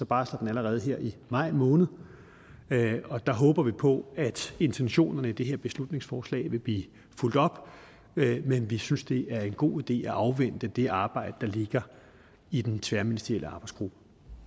barsler den allerede her i maj måned og der håber vi på at intentionen med det her beslutningsforslag vil blive fulgt op men vi synes det er en god idé at afvente det arbejde der ligger i den tværministerielle arbejdsgruppe